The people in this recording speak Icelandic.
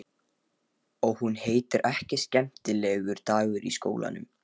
Og hún heitir ekki Skemmtilegur dagur í skólanum.